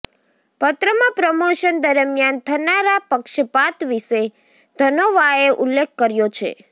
પત્રમાં પ્રમોશન દરમિયાન થનારા પક્ષપાત વિશે ધનોવાએ ઉલ્લેખ કર્યો છે